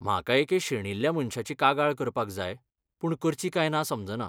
म्हाका एके शेणिल्ल्या मनशाची कागाळ करपाक जाय पूण करची काय ना समजना.